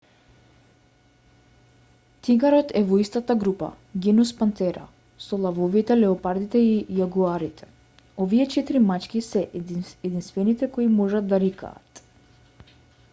тигарот е во истата група genus panthera со лавовите леопардите и јагуарите. овие четири мачки се единствените кои можат да рикаат